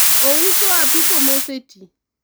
ouso apiko moseti